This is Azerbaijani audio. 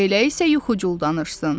Elə isə yuxucul danışsın.